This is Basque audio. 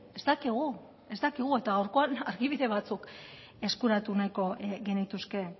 ez dakigu ez dakigu eta gaurkoan argibide batzuk eskuratu nahiko genituzke